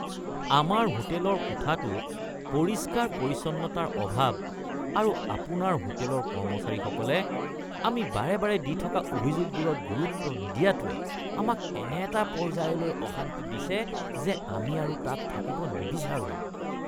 আমাৰ হোটেলৰ কোঠাটোত পৰিষ্কাৰ-পৰিচ্ছন্নতাৰ অভাৱ আৰু আপোনাৰ হোটেলৰ কৰ্মচাৰীসকলে আমি বাৰে বাৰে দি থকা অভিযোগবোৰত গুৰুত্ব নিদিয়াটোৱে আমাক এনে এটা পৰ্যায়লৈ অশান্তি দিছে যে আমি আৰু তাত থাকিব নিবিচাৰোঁ।